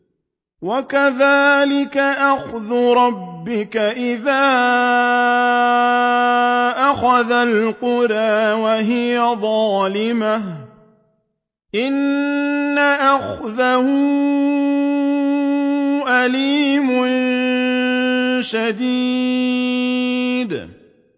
وَكَذَٰلِكَ أَخْذُ رَبِّكَ إِذَا أَخَذَ الْقُرَىٰ وَهِيَ ظَالِمَةٌ ۚ إِنَّ أَخْذَهُ أَلِيمٌ شَدِيدٌ